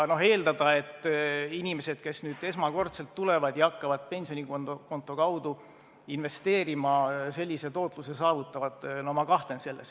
Eeldada, et inimesed, kes esmakordselt tulevad ja hakkavad pensionikonto kaudu investeerima, sellise tootluse saavutavad – ma kahtlen selles.